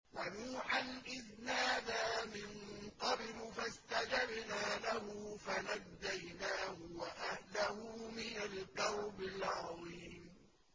وَنُوحًا إِذْ نَادَىٰ مِن قَبْلُ فَاسْتَجَبْنَا لَهُ فَنَجَّيْنَاهُ وَأَهْلَهُ مِنَ الْكَرْبِ الْعَظِيمِ